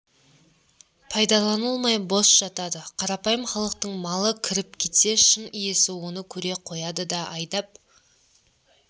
пайдаланылмай бос жатады қарапайым халықтың малы кіріп кетсе шын иесі оны көре қояды да айдап